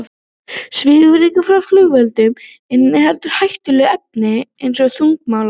Svifryk frá flugeldum inniheldur hættuleg efni eins og þungmálma.